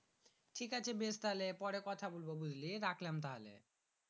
ঠিক আছে বেশ তাহলে পরে কথা বলবো বুঝলি রাখলাম তাহলে